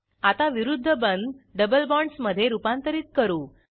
आता विरूध्द बंध डबल बॉण्ड्स मधे रूपांतरित करू